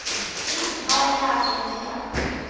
Grímur, hvað er í dagatalinu mínu í dag?